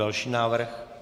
Další návrh.